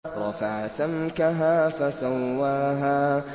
رَفَعَ سَمْكَهَا فَسَوَّاهَا